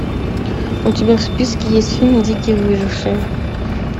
у тебя в списке есть фильм дикий выживший